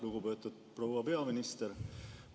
Lugupeetud proua peaminister!